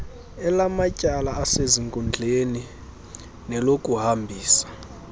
elamatyala asezinkundleni nelokuhambisa